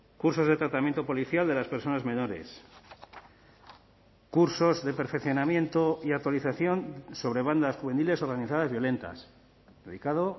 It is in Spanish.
cursos de tratamiento policial de las personas menores cursos de perfeccionamiento y actualización sobre bandas juveniles organizadas violentas dedicado